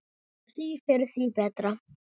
Því fyrr því betra.